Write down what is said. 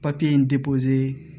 Papiye in